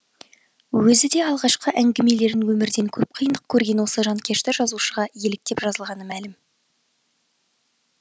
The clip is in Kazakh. өзі де алғашқы әңгімелерін өмірден көп қиындық көрген осы жанкешті жазушыға еліктеп жазғаны мәлім